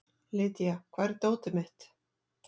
Lydia, hvar er dótið mitt?